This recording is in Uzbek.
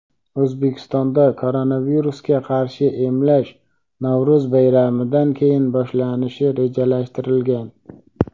O‘zbekistonda koronavirusga qarshi emlash Navro‘z bayramidan keyin boshlanishi rejalashtirilgan.